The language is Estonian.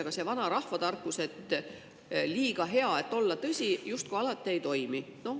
Aga see vanarahva tarkus, et liiga hea, et olla tõsi, justkui alati ei toimi.